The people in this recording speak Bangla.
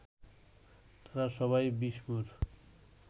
তারা সবাই বিষ্ণুর